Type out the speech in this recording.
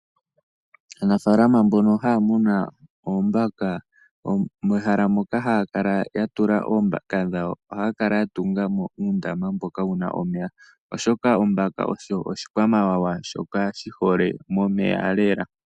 Aanafaalama mbono haya muna oombaka mehala moka haya kala ya tula oombaka dhawo ohaya kala ya tunga mo uundama mboka wu na omeya, oshoka ombaka osho oshikwamawawa shoka shi hole momeya lela.